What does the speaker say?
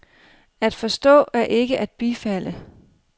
At forstå er ikke at bifalde.